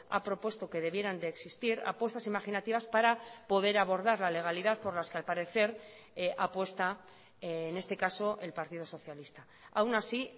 ha propuesto que debieran de existir apuestas imaginativas para poder abordar la legalidad por las que al parecer apuesta en este caso el partido socialista aún así